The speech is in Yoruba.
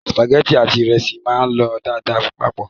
Sìpàgẹ́tì àti ìrẹsì máa ń lọ dáadáa papọ̀.